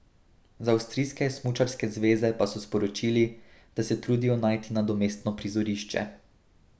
Z avstrijske smučarske zveze pa so sporočili, da se trudijo najti nadomestno prizorišče.